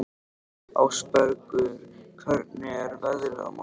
Ásbergur, hvernig er veðrið á morgun?